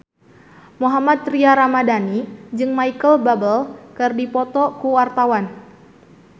Mohammad Tria Ramadhani jeung Micheal Bubble keur dipoto ku wartawan